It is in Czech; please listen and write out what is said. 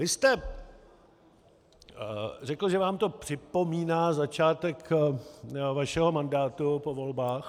Vy jste řekl, že vám to připomíná začátek vašeho mandátu po volbách...